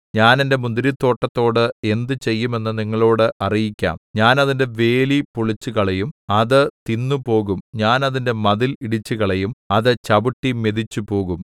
ഞാൻ എന്റെ മുന്തിരിത്തോട്ടത്തോട് എന്ത് ചെയ്യും എന്നു നിങ്ങളോട് അറിയിക്കാം ഞാൻ അതിന്റെ വേലി പൊളിച്ചുകളയും അത് തിന്നു പോകും ഞാൻ അതിന്റെ മതിൽ ഇടിച്ചുകളയും അത് ചവിട്ടി മെതിച്ചുപോകും